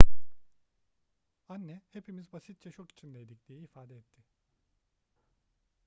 anne hepimiz basitçe şok içindeydik diye ifade etti